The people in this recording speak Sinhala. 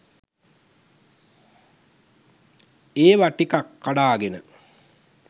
ඒවා ටිකක් කඩාගෙන